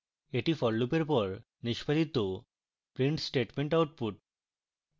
এটি for loop এর পর নিষ্পাদিত print statement output